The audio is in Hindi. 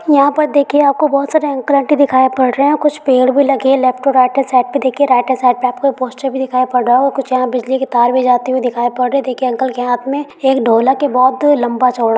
यहाँ पर देखिये आपको बहुत सारे अंकल आंटी दिखाई पड़ रहे है। कुछ पेड़ भी लगे है left to right hand side पे देखिये राइट हैंड साइड पे आपको पोस्टर भी दिखाई पड़ रहा होगा। कुछ यहाँ बिजली की तार भी जाती हुई दिखाई पड़ रही है। देखिये अंकल के हाथ में एक ढोलक है बोहोत लम्बा चौड़ा ।